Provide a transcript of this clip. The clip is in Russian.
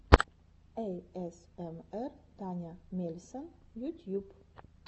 эйэсэмэр таня мельсон ютьюб